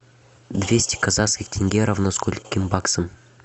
двести казахских тенге равно скольким баксам